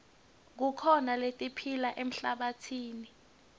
kukhona letiphila emhlabatsini